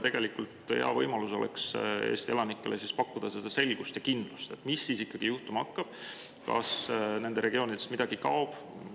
Tegelikult oleks nüüd hea võimalus pakkuda Eesti elanikele selgust ja kindlust, mis siis ikkagi juhtuma hakkab, kas nende regioonist veel midagi kaob.